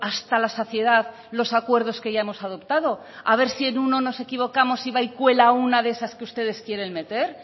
hasta la saciedad los acuerdos que ya hemos adoptado a ver si en uno nos hemos equivocado y va y cuela una de esas que ustedes quieren meter